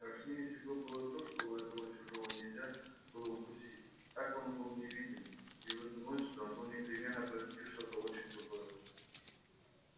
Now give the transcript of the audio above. страшнее всего было то что этого чужого нельзя было укусить так он был невидим и в эту ночь должно непременно произойти что-то очень худое